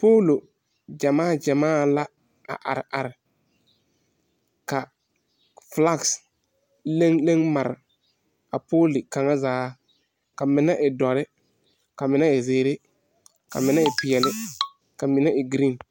Polo gyamaa gyamaa la a are are. Ka fulaks leŋ leŋ mare a pole kang zaa. Kaa mene e doure, ka mene e ziire, ka mene e piɛle, ka mene e gren